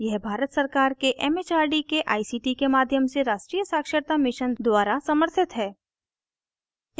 यह भारत सरकार के it it आर डी के आई सी टी के माध्यम से राष्ट्रीय साक्षरता mission द्वारा समर्थित है